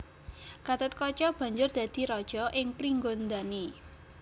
Gathotkaca banjur dadi raja ing Pringgondani